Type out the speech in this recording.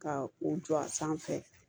Ka u jɔ a sanfɛ